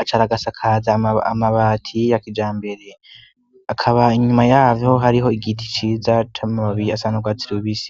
acaragasakaza amabati y yakija mbere akaba inyuma yayo hariho igiti ciza tamamabiyi asanaurwatsilubisi.